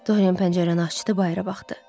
Dorin pəncərəni açdı, bayıra baxdı.